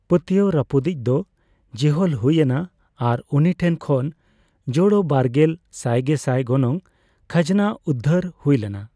ᱯᱟᱹᱛᱭᱟᱹᱣ ᱨᱟᱹᱯᱩᱫᱤᱡ ᱫᱚ ᱡᱮᱦᱚᱞ ᱦᱩᱭ ᱮᱱᱟ ᱟᱨ ᱩᱱᱤ ᱴᱷᱮᱱ ᱠᱷᱚᱱ ᱡᱳᱲᱳᱵᱟᱨᱜᱮᱞ ᱥᱟᱭᱜᱮᱥᱟᱭ ᱜᱚᱱᱚᱝ ᱠᱷᱟᱡᱱᱟ ᱩᱫᱫᱷᱟᱹᱨ ᱦᱩᱭ ᱞᱮᱱᱟ ᱾